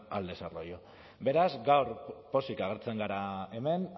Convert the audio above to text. al desarrollo beraz gaur pozik agertzen gara hemen